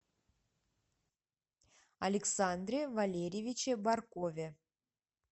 александре валерьевиче баркове